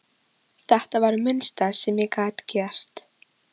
Þetta var það minnsta sem ég gat gert